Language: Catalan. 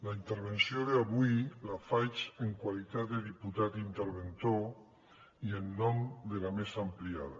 la intervenció d’avui la faig en qualitat de diputat interventor i en nom de la mesa ampliada